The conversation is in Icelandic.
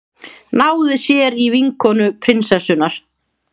Náði sér í vinkonu prinsessunnar